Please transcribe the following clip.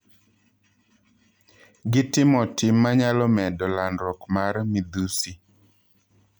Gitimo tim manyalo medo landruok mar midhusi.